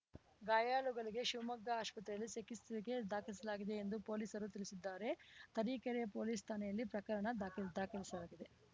ಗಾಯಾಳುಗಳಿಗೆ ಶಿವಮೊಗ್ಗ ಆಸ್ಪತ್ರೆಯಲ್ಲಿ ಚಿಕಿತ್ರೆಗೆ ದಾಖಲಿಸಲಾಗಿದೆ ಎಂದು ಪೊಲೀಸರು ತಿಳಿಸಿದ್ದಾರೆ ತರೀಕೆರೆ ಪೊಲೀಸ್‌ ಠಾಣೆಯಲ್ಲಿ ಪ್ರಕರಣ ದಾಖದಾಖಲಿಸಲಾಗಿದೆ